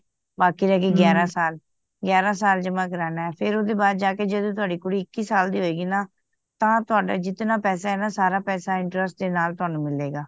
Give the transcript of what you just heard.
ਬਾਕੀ ਰਹਿ ਗੇ ਗਿਆਰਾਂ ਸਾਲ ਗਿਆਰਾਂ ਸਾਲ ਜਮਾ ਕਰਨਾ ਫੇਰ ਉਹਦੇ ਬਾਅਦ ਜਾਕੇ ਜਦੋ ਤਵਾਦੀ ਕੂੜੀ ਇੱਕੀ ਸਾਲ ਦੀ ਹੋਏ ਗੀ ਨਾ ਤਾਂ ਤਵਾਨੁ ਜਿਤਨਾ ਪੈਸੇ ਹੈ ਨਾ ਸਾਰਾ ਪੈਸੇ interest ਦੇ ਨਾਲ ਤੁਹਾਨੂ ਮਿਲੇਗਾ